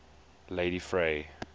ladyfrey